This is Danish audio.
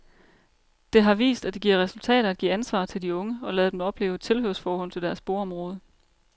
Det har vist, at det giver resultater at give ansvar til de unge og lade dem opleve et tilhørsforhold til deres boområde.